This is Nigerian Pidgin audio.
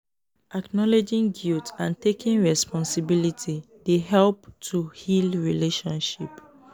acknowledging guilt and taking responsibility dey help to heal relationship.